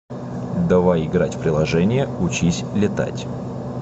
давай играть в приложение учись летать